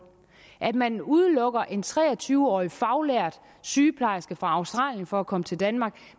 at man udelukker en tre og tyve årig faglært sygeplejerske fra australien fra at komme til danmark